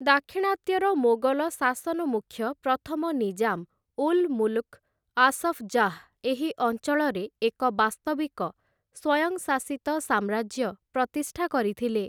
ଦାକ୍ଷିଣାତ୍ୟର ମୋଗଲ ଶାସନମୁଖ୍ୟ ପ୍ରଥମ ନିଜାମ୍ 'ଉଲ୍ ମୁଲ୍କ୍ ଆସଫ୍ ଜାହ୍‌' ଏହି ଅଞ୍ଚଳରେ ଏକ ବାସ୍ତବିକ ସ୍ୱୟଂଶାସିତ ସାମ୍ରାଜ୍ୟ ପ୍ରତିଷ୍ଠା କରିଥିଲେ ।